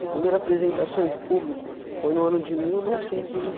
A primeira apresentação em público foi no ano de mil novecentos e